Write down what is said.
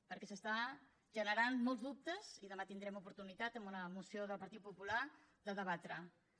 perquè s’estan generant molts dubtes i demà tindrem oportunitat en una moció del partit popular de debatre ho